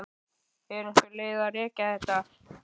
Er einhver leið að rekja þetta?